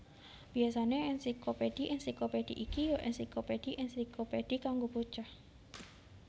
Biyasané ènsiklopédhi ènsiklopédhi iki ya ènsiklopédhi ènsiklopédhi kanggo bocah